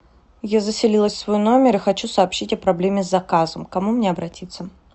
я заселилась в свой номер и хочу сообщить о проблеме с заказом к кому мне обратиться